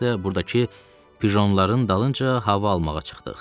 biz də burdakı pjonların dalınca hava almağa çıxdıq.